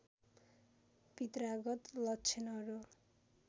पित्रागत लक्षणहरू